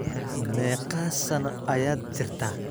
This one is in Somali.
meeqa sano ayaad jirtaa